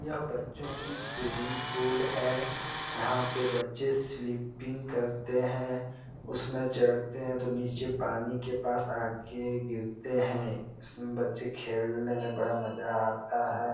यह बच्चो की स्वीमिंग पूल है यहाँ पे बच्चे स्लीपिंग करते है उसमें चढ़ते है तो नीचे पानी के पास आके गिरते है इसमें बच्चे खेलने में बड़ा मजा आता है।